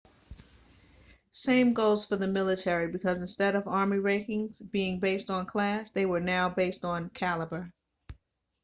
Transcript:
same goes for the military because instead of army rankings being based on class they were now based on cailaber